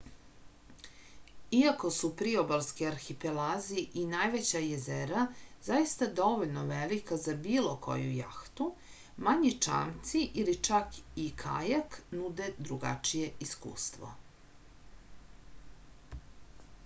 iako su priobalski arhipelazi i najveća jezera zaista dovoljno velika za bilo koju jahtu manji čamci ili čak i kajak nude drugačije iskustvo